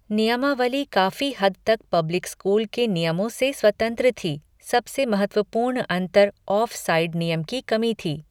नियमावली काफी हद तक पब्लिक स्कूल के नियमों से स्वतंत्र थी, सबसे महत्वपूर्ण अंतर ऑफसाइड नियम की कमी थी।